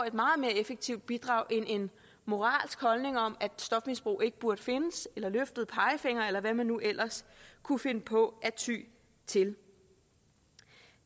et meget mere effektivt bidrag end moralske holdninger om at stofmisbrug ikke burde findes eller løftede pegefingre eller hvad man nu ellers kunne finde på at ty til